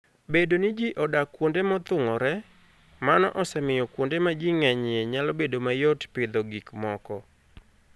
Bedo ni ji odak kuonde mothung'ore, mano osemiyo kuonde ma ji ng'enyie nyalo bedo mayot pidho gik moko.